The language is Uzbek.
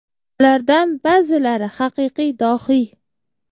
Ulardan ba’zilari haqiqiy dohiy.